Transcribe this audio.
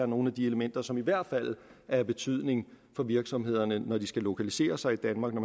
nogle elementer som i hvert fald er af betydning for virksomhederne når de skal lokalisere sig i danmark når